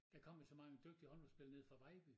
Der kom jo så mange dygtige håndboldspillere nede fra Vejby